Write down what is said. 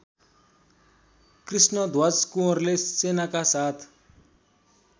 कृष्णध्वज कुँवरले सेनाका साथ